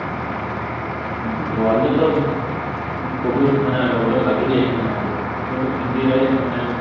worldରେ ତ COVID ମାନେ lockdown ଲାଗି ହିଁ ଯାଇଥିଲାଣି ଆଗରୁ କିନ୍ତୁ ଇଣ୍ଡିଆରେ